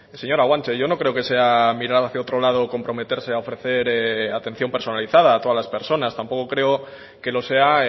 señora guanche yo no creo que sea mirar hacia otro lado comprometerse a ofrecer atención personalizada a todas las personas tampoco creo que lo sea